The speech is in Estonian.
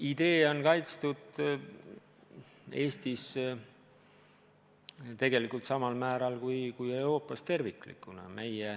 Idee on kaitstud Eestis tegelikult samal määral kui Euroopas tervikuna.